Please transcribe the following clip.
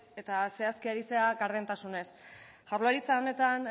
eta zehazki ari zara gardentasunez jaurlaritza honetan